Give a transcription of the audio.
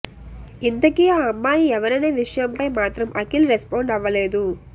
ఇంతకీ ఆ అమ్మాయి ఎవరనే విషయంపై మాత్రం అఖిల్ రెస్పాండ్ అవ్వలేదు